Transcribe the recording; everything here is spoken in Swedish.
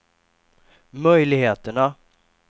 möjligheterna